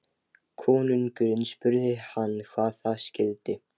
Konungurinn spurði hann hvað það skyldi.